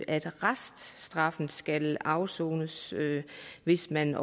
at reststraffen skal afsones hvis man